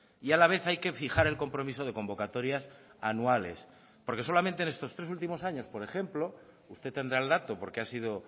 y a la vez hay que fijar el compromiso de convocatorias anuales porque solamente en estos tres últimos años por ejemplo usted tendrá el dato porque ha sido